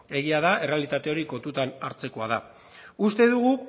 egia da errealitate hori kontutan hartzekoa dela uste dugu